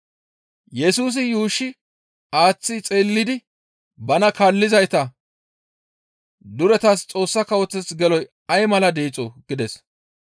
Yesusi yuushshi aaththi xeellidi bana kaallizayta, «Duretas Xoossa Kawoteth geloy ay mala deexoo!» gides.